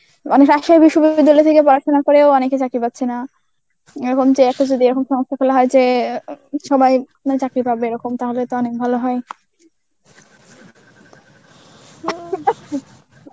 বিশ্ববিদ্যালয় থেকে পড়াশোনা করে ও অনেকে চাকরি পাচ্ছে না. এরকম যে একটা যদি একরম সংস্থা খুললে হয় যে অ্যাঁ সবাই মানে চাকরি পাবে এরকম তাহলে তো অনেক ভালো হয়.